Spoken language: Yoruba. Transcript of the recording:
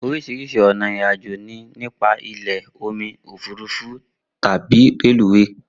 Oríṣiríṣi ọ̀nà ìrìn àjò ni nípa ilẹ̀, omi, òfúrufú tàbí reluwé